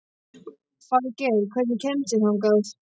Falgeir, hvernig kemst ég þangað?